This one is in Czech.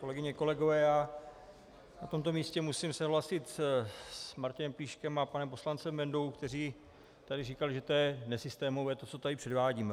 Kolegyně, kolegové, já na tomto místě musím souhlasit s Martinem Plíškem a panem poslancem Bendou, kteří tady říkali, že to je nesystémové, to, co tady předvádíme.